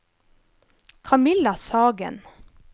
Kamilla Sagen